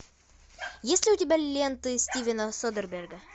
есть ли у тебя ленты стивена содерберга